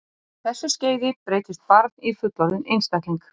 Á þessu skeiði breytist barn í fullorðinn einstakling.